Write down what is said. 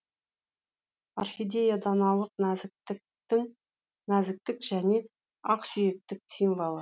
орхидея даналық нәзіктіктің нәзіктік және ақсүйектік символы